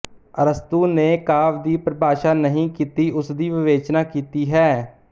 ਅਰਸਤੂ ਨੇ ਕਾਵਿ ਦੀ ਪਰਿਭਾਸ਼ਾ ਨਹੀਂ ਕੀਤੀਉਸਦੀ ਵਿਵੇਚਨਾ ਕੀਤੀ ਹੈ